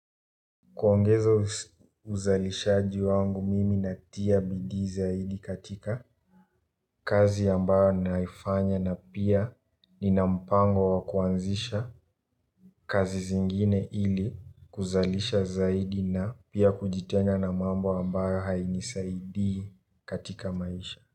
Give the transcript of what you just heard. Kuongeza uzalishaji wangu mimi natia bidii zaidi katika kazi ambayo naifanya na pia nina mpango wa kuanzisha kazi zingine ili kuzalisha zaidi na pia kujitenga na mambo ambayo hainisaidi katika maisha.